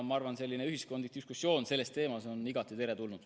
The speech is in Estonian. Ma arvan, et ühiskondlik diskussioon sellel teemal on igati teretulnud.